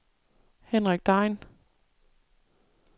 Henrik Degn